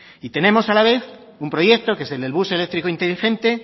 y tenemos a la vez un proyecto que es el del bus eléctrico inteligente